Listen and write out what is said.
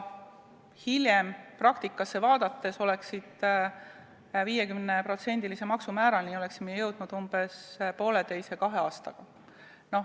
Hiljem praktikat vaadates oli selge, et me oleksime 50%-lise maksumäärani jõudnud 1,5–2 aastaga.